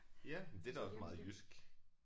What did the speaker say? Ja men det er da også meget jysk